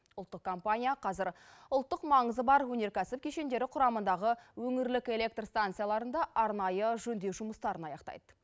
ұлттық компания қазір ұлттық маңызы бар өнеркәсіп кешендері құрамындағы өңірлік электр станцияларында арнайы жөндеу жұмыстарын аяқтайды